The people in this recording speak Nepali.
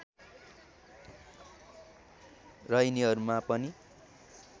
र यिनीहरूमा पनि